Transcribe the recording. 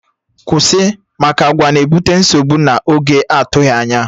Kwụsị! Maka àgwà na-ebute nsogbu na oge atụghị anya